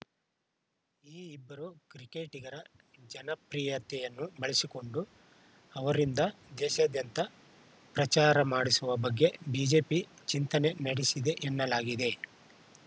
ಈ ಇಬ್ಬರು ಕ್ರಿಕೆಟಿಗರ ಜನಪ್ರಿಯತೆಯನ್ನು ಬಳಸಿಕೊಂಡು ಅವರಿಂದ ದೇಶಾದ್ಯಂತ ಪ್ರಚಾರ ಮಾಡಿಸುವ ಬಗ್ಗೆ ಬಿಜೆಪಿ ಚಿಂತನೆ ನಡೆಸಿದೆ ಎನ್ನಲಾಗಿದೆ